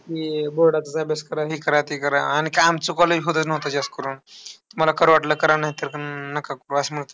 हे board चा अभ्यास करा. हे करा, ते करा. आणि काय आमच्या college मध्ये नव्हतं जास्त करून. तुम्हाला करा वाटलं तर करा, नाहीतर अह नका करू असं मत.